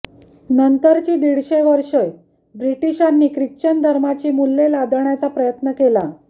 नंतरची दीडशे वर्षे ब्रिटिशांनी ख्रिश्चनधर्माची मूल्ये लादण्याचा प्रयत्न केला